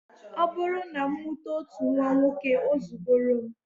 Ọ bụrụ na m mụta otu nnwa nwoke, o zugoro m